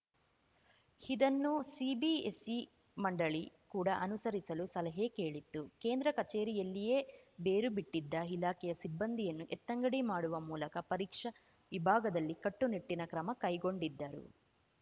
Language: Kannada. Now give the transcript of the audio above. ಇದನ್ನು ಸಿಬಿಎಸ್‌ಇ ಮಂಡಳಿ ಕೂಡ ಅನುಸರಿಸಲು ಸಲಹೆ ಕೇಳಿತ್ತು ಕೇಂದ್ರ ಕಚೇರಿಯಲ್ಲಿಯೇ ಬೇರುಬಿಟ್ಟಿದ್ದ ಇಲಾಖೆಯ ಸಿಬ್ಬಂದಿಯನ್ನು ಎತ್ತಂಗಡಿ ಮಾಡುವ ಮೂಲಕ ಪರೀಕ್ಷಾ ವಿಭಾಗದಲ್ಲಿ ಕಟ್ಟುನಿಟ್ಟಿನ ಕ್ರಮ ಕೈಗೊಂಡಿದ್ದರು